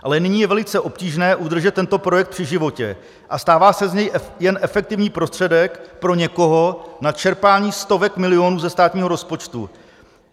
Ale nyní je velice obtížné udržet tento projekt při životě a stává se z něj jen efektivní prostředek pro někoho na čerpání stovek milionů ze státního rozpočtu.